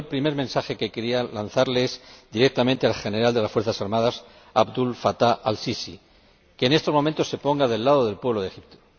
El primer mensaje que quería lanzar es directamente al general de las fuerzas armadas, Abdel Fatah al Sisi que en estos momentos se ponga al lado del pueblo de Egipto.